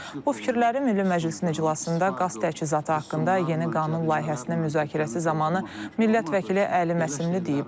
Bu fikirləri Milli Məclisin iclasında qaz təchizatı haqqında yeni qanun layihəsinin müzakirəsi zamanı millət vəkili Əli Məsimli deyib.